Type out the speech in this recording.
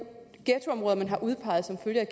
ghettoområder man har udpeget som følge